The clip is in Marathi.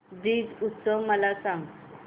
ब्रज उत्सव मला सांग